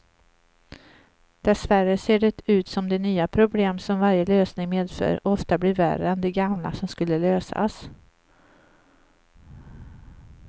Dessvärre ser det ut som de nya problem som varje lösning medför ofta blir värre än de gamla som skulle lösas.